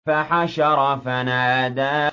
فَحَشَرَ فَنَادَىٰ